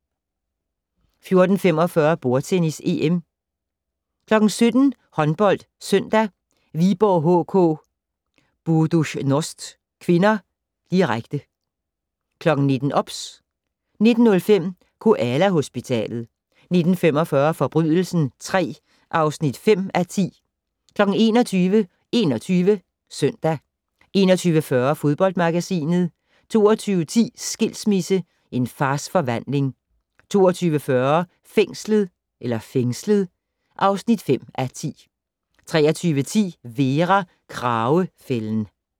14:45: Bordtennis: EM 17:00: HåndboldSøndag: Viborg HK-Buducnost (k), direkte 19:00: OBS 19:05: Koala-hospitalet 19:45: Forbrydelsen III (5:10) 21:00: 21 Søndag 21:40: Fodboldmagasinet 22:10: Skilsmisse - En fars forvandling 22:40: Fængslet (5:10) 23:10: Vera: Kragefælden